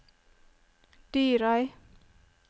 Dyrøy